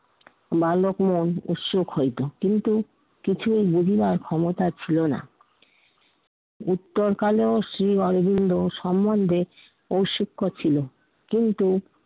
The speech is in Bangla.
বালক মন উৎসুক হইতো কিন্তু কিছুই বুঝিবার ক্ষমতা ছিলো না। উত্তরকালেও শ্রী অরবিন্দ সমন্ধে ঔৎসুক্য ছিলেন। কিন্তু